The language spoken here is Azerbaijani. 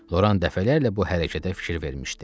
Loran dəfələrlə bu hərəkətə fikir vermişdi.